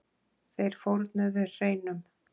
Þeir fórnuðu hreinum.